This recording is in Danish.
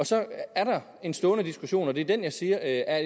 så er der en stående diskussion imellem og det er den jeg siger er